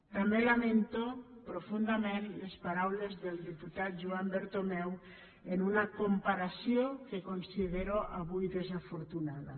també lamento profundament les paraules del diputat juan bertomeu en una comparació que considero avui desafortunada